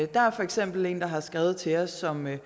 der er for eksempel en der har skrevet til os som er